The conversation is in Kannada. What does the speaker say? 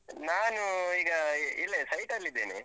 ನಾನು ಈಗ ಇಲ್ಲೇ site ಅಲ್ಲಿದ್ದೇನೆ.